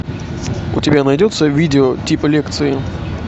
у тебя найдется видео типа лекции